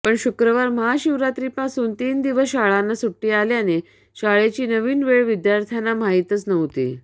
पण शुक्रवार महाशिवरात्रीपासून तीन दिवस शाळांना सुट्टी आल्याने शाळेची नवीन वेळ विद्यार्थ्यांना माहीतच नव्हती